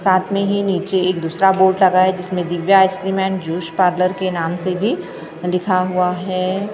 साथ में ही नीचे एक दूसरा बोर्ड लगा है जिसमे Divya ice cream juice parlour के नाम से भी लिखा हुआ है।